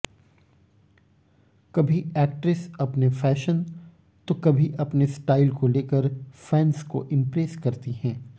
कभी एक्ट्रेस अपने फैशन तो कभी अपने स्टाइल को लेकर फैंस को इम्प्रेस करती हैं